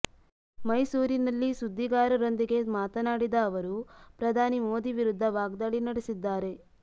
ಮೈಸೂರಿನಲ್ಲಿ ಸುದ್ದಿಗಾರರೊಂದಿಗೆ ಮಾತನಾಡಿದ ಅವರು ಪ್ರಧಾನಿ ಮೋದಿ ವಿರುದ್ಧ ವಾಗ್ದಾಳಿ ನಡೆಸಿದ್ದಾರೆ